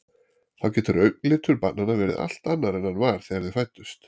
Þá getur augnlitur barnanna verið allt annar en hann var þegar þau fæddust.